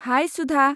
High Sudha!